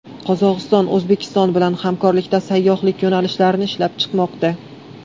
Qozog‘iston O‘zbekiston bilan hamkorlikda sayyohlik yo‘nalishlarini ishlab chiqmoqda.